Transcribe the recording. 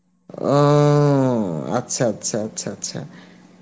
ও আচ্ছা আচ্ছা আচ্ছা আচ্ছা আচ্ছা